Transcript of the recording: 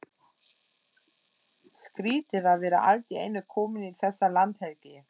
Skrýtið að vera allt í einu kominn í þessa landhelgi!